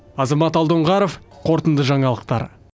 азамат алдоңғаров қорытынды жаңалықтар